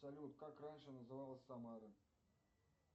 салют как раньше называлась самара